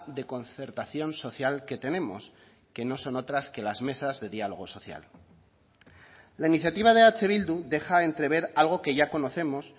de concertación social que tenemos que no son otras que las mesas de diálogo social la iniciativa de eh bildu deja entrever algo que ya conocemos